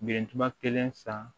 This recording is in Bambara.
Bilentuma kelen san